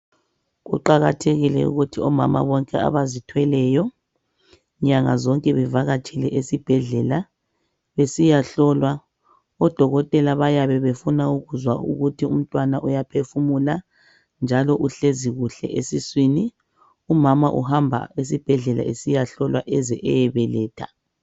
Kuqakathekile ukuthi omama bonke abazithweleyo nyanga zonke bevakatshele ezibhedlela besiyahlolwa. ODokotela bayabe befuna ukuzwa ukuthi umntwana uyaphefumula njalo uhlezi kuhle esisŵini. Umama uhamba esibhedlela esiyahlolwa eze eyebeletha.